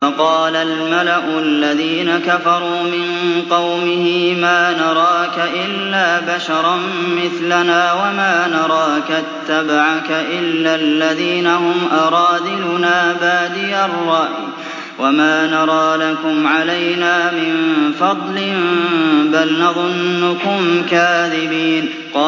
فَقَالَ الْمَلَأُ الَّذِينَ كَفَرُوا مِن قَوْمِهِ مَا نَرَاكَ إِلَّا بَشَرًا مِّثْلَنَا وَمَا نَرَاكَ اتَّبَعَكَ إِلَّا الَّذِينَ هُمْ أَرَاذِلُنَا بَادِيَ الرَّأْيِ وَمَا نَرَىٰ لَكُمْ عَلَيْنَا مِن فَضْلٍ بَلْ نَظُنُّكُمْ كَاذِبِينَ